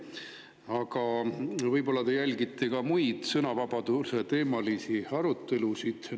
Aga võib-olla te jälgite ka muid sõnavabaduseteemalisi arutelusid?